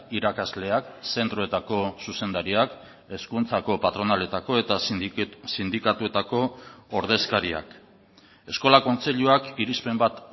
irakasleak zentroetako zuzendariak hezkuntzako patronaletako eta sindikatuetako ordezkariak eskola kontseiluak irizpen bat